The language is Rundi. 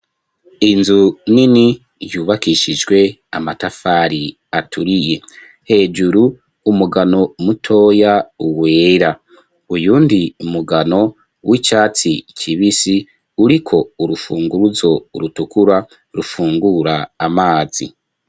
Inzu nini yubakishijwe amatafari aturiye hejuru umugano mutoya uwera, uyundi mugano w'icyatsi kibisi uriko urufunguruzo rutukura rufungura amazi.